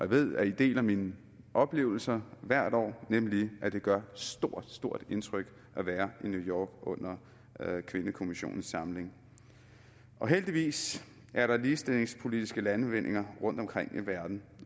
ved at i deler mine oplevelser hvert år nemlig at det gør stort stort indtryk at være i new york under kvindekommissionens samling heldigvis er der ligestillingspolitiske landvindinger rundtomkring i verden